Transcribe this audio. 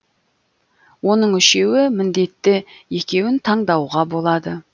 оның үшеуі міндетті екеуін таңдауға болады